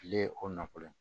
Kile o nɔfolo ye